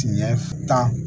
Tiɲɛ tan